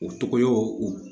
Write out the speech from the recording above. O tɔgɔ y'o o